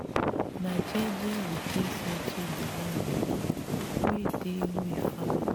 na jeje we take settle di land mata wey dey we family.